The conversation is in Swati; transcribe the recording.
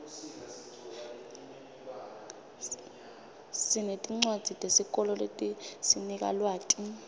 sinetincwadzi tesikolo letisinika lwati